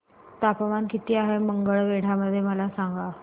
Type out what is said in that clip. तापमान किती आहे मंगळवेढा मध्ये मला सांगा